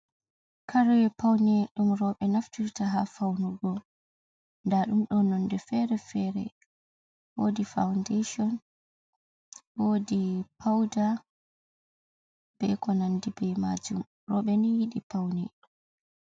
Kare paune ɗum rooɓe naftirta ha faunugo, nda ɗum ɗo nonde fere-fere wodi faundation wodi pauda be ko nandi ba majum rooɓe ni yiɗi paune